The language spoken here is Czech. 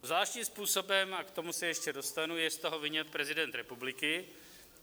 Zvláštním způsobem, a k tomu se ještě dostanu, je z toho vyňat prezident republiky.